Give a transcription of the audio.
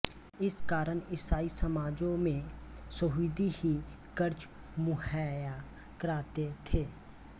इस कारण ईसाई समाजों में यहूदी ही कर्ज मुहैया कराते थे